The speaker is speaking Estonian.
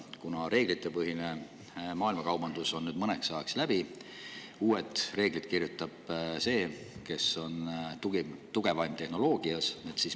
Kuna reeglitepõhine maailmakaubandus on nüüd mõneks ajaks läbi, siis kirjutab uued reeglid see, kes on tugevaim tehnoloogias.